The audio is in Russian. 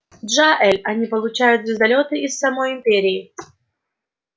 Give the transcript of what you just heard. джаэль они получают звездолёты из самой империи